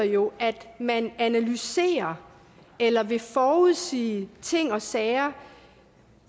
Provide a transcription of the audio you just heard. jo at man analyserer eller vil forudsige ting og sager